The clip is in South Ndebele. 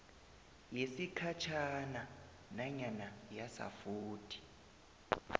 yesikhatjhana nanyana yasafuthi